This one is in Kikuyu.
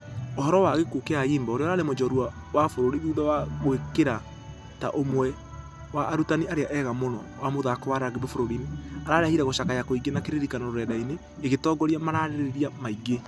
Ũhoro wa gĩkuo gĩa ayimba ũrĩa ũrarĩ njorua wa bũrũri thutha wa kwĩĩkĩra ta ũmwe wa arutani arĩa ega mũno wa mũthako wa rugby bũrũri-inĩ. Ĩrarehire gũcakaya kũingĩ na kĩririkano rurenda-inĩ ikĩtongoria marereria maingĩ.